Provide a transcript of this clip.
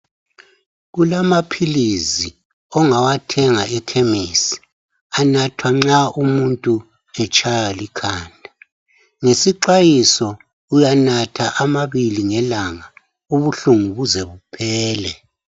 Kulamaphilisi ongawathenga ekhemisi anathwa nxa umuntu etshaywa likhanda ngesixwayiso uyanatha amabili ngelanga ubuhlungu buze buphele.